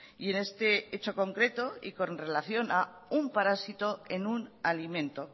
y en este hecho concreto y con relación a un parásito en un alimento